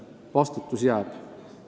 Vastutus jääb.